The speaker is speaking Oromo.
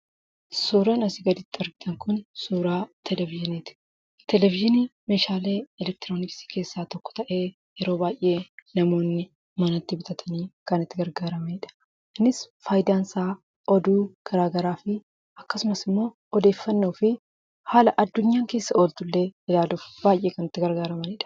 Suuraan asii gaditti arginu kun suuraa "televizyinii" ti. Televizhiniin meeshaalee elektirooniksii keessaa tokko ta'ee, yeroo baay'ee namoonni manatti bitatanii kan itti gargaaramanidha. Innis faayidaan isaa oduu gara garaafi akkasumas ammoo odeeffannoofi haala addunyaan keessa ooltu illee ilaaluuf baay'ee kan itti gargaaramanidha.